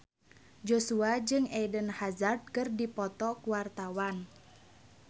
Joshua jeung Eden Hazard keur dipoto ku wartawan